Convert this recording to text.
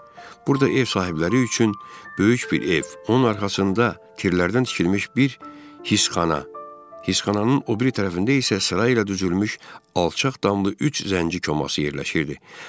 Burda ev sahibləri üçün böyük bir ev, onun arxasında tirllərdən tikilmiş bir hisxana, hisxananın o biri tərəfində isə sırayla düzülmüş alçaq damlı üç zənci koması yerləşirdi.